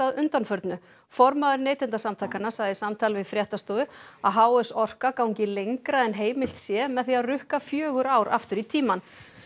undanförnu formaður Neytendasamtakanna sagði í samtali við fréttastofu að h s Orka gangi lengra en heimilt sé með því að rukka fjögur ár aftur í tímann